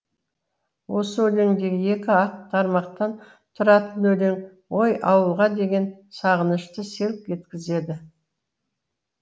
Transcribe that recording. осы өлеңдегі екі ақ тармақтан тұратын өлең ой ауылға деген сағынышты селк еткізеді